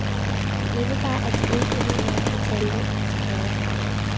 Det indebar, at de ikke behøvede at betale lånene tilbage.